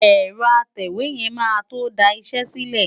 Ẹ̀rọ atẹ̀wé yẹn máa tó da iṣẹ́ sílẹ̀.